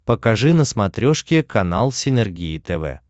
покажи на смотрешке канал синергия тв